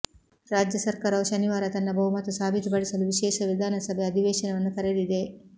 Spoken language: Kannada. ರಾಜ್ಯ ಸರ್ಕಾರವು ಶನಿವಾರ ತನ್ನ ಬಹುಮತ ಸಾಬೀತುಪಡಿಸಲು ವಿಶೇಷ ವಿಧಾನಸಭೆ ಅಧಿವೇಶನವನ್ನು ಕರೆದಿದೆ